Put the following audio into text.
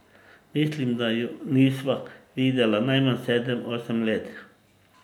Mislim, da ju nisva videla najmanj sedem, osem let.